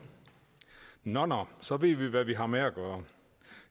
nå nå så ved vi hvad vi har med at gøre